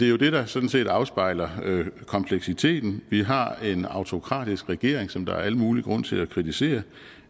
jo det der sådan set afspejler kompleksiteten vi har en autokratisk regeringen som der er al mulig grund til at kritisere